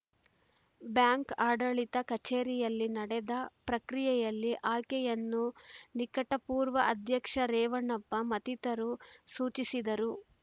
bank ಆಡಳಿತ ಕಚೇರಿಯಲ್ಲಿ ನಡೆದ ಪ್ರಕ್ರಿಯೆಯಲ್ಲಿ ಆಯ್ಕೆಯನ್ನು ನಿಕಟಪೂರ್ವ ಅಧ್ಯಕ್ಷ ರೇವಣಪ್ಪ ಮತ್ತಿತರರು ಸೂಚಿಸಿದರು